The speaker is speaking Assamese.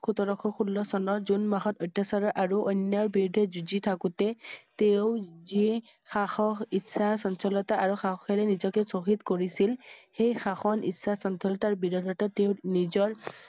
সোতৰ শ ষোল্ল চনত জুন মাহত অত্যাচাৰৰ আৰু অন্যায় ৰ বিৰুদ্ধে যুঁজ থাকোঁতে তেওঁ যি সাহস ইচ্ছা চঞ্চলতা আৰু সাহসেৰে নিজকে শ্বহীদ কৰিছিল সেই সাহস ইচ্ছা চঞ্চলতাৰ বিৰোধিতা তেওঁ নিজৰ